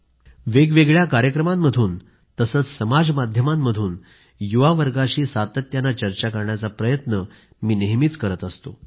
वेगवेगळ्या कार्यक्रमांमधून तसेच समाज माध्यमातून युवावर्गाशी सातत्याने चर्चा करण्याचा प्रयत्न मी नेहमीच करत असतो